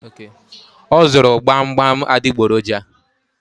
O zụrụ gbamgbam adịgboroja